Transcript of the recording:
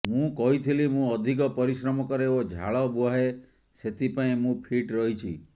ମୁଁ କହିଥିଲି ମୁଁ ଅଧିକ ପରିଶ୍ରମ କରେ ଓ ଝାଳ ବୁହାଏ ସେଥିପାଇଁ ମୁଁ ଫିଟ୍ ରହିଛି